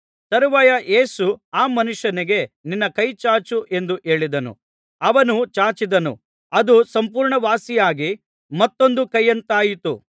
ತರುವಾಯ ಯೇಸು ಆ ಮನುಷ್ಯನಿಗೆ ನಿನ್ನ ಕೈ ಚಾಚು ಎಂದು ಹೇಳಿದನು ಅವನು ಚಾಚಿದನು ಅದು ಸಂಪೂರ್ಣವಾಸಿಯಾಗಿ ಮತ್ತೊಂದು ಕೈಯಂತಾಯಿತು